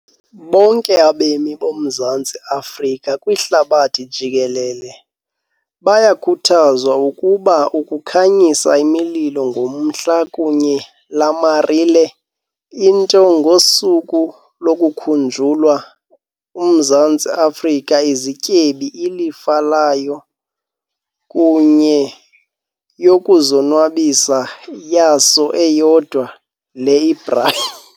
Bonke abemi boMzantsi Afrika kwihlabathi jikelele bayakhuthazwa ukuba ukukhanyisa imililo ngomhla kunye lamarile into. Ngosuku lokukhunjulwa Mzantsi Afrika izityebi ilifa layo kunye yokuzonwabisa yaso eyodwa, le ibrayi.